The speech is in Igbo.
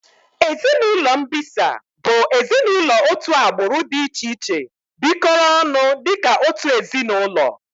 Ezinaụlọ mbisa bụ ezinaụlọ otu agbụrụ dị iche iche bikoro ọnụ dịka otu ezinaụlọ